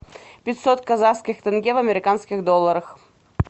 пятьсот казахских тенге в американских долларах